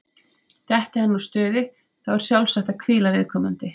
Detti hann úr stuði, þá er sjálfsagt að hvíla viðkomandi.